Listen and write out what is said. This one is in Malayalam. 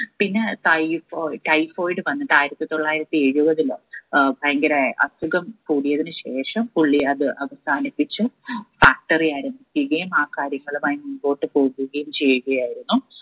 പിന്നെ typhoid typhoid വന്നത് ആയിരത്തി തൊള്ളായിരത്തി എഴുപതിലോ ഏർ ഭയങ്കരാ അസുഖം കൂടിയതിനു ശേഷം പുള്ളി അത് അവസാനിപ്പിച്ച് factory ആയും തികയും ആ കാര്യങ്ങളുമായി മുമ്പോട്ടു പോവുകയും ചെയ്യുകയായിരുന്നു